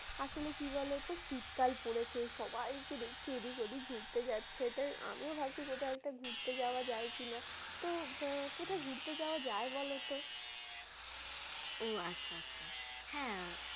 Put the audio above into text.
আসলে কি বলত শীতকাল পড়েছে এই সবাইকে দেখছি এদিক ওদিক ঘুরতে যাচ্ছে, তাই আমিও ভাবছি কোথাও একটা ঘুরতে যাওয়া যায় কিনা? তো আহ কোথায় ঘুরতে যাওয়া যায় বলতো? ও আচ্ছা আচ্ছা হ্যা।